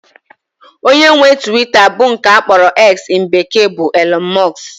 Onye nwe Twita bụ nke akpọrọ "X" in bekee bụ Elọn Mọs